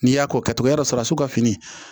N'i y'a k'o kɛ i b'a sɔrɔ su ka fini